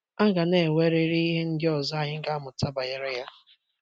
A ga na - enwe riri ihe ndị ọzọ anyị ga - amụta banyere ya..